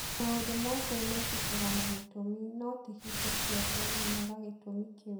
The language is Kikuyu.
Maũndũ mothe mekĩkaga na gĩtũmi, no ti hingo ciothe menyaga gĩtũmi kĩu.